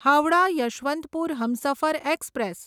Howrah Yesvantpur Humsafar express